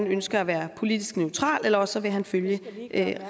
ønsker at være politisk neutral eller også vil han følge